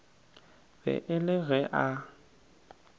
be e le ge a